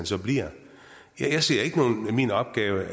så bliver jeg ser ikke min opgave